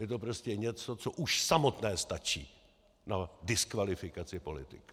Je to prostě něco, co už samotné stačí na diskvalifikaci politika.